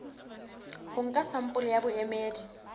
ho nka sampole ya boemedi